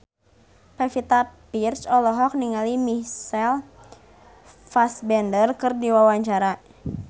Pevita Pearce olohok ningali Michael Fassbender keur diwawancara